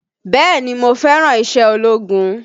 Bẹ́ẹ̀ni mo fẹ́ràn iṣẹ́ ológun